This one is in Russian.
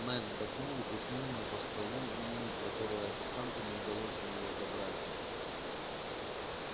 найд вздохнул и пихнул мне по столу меню которое официанту не удалось у него забрать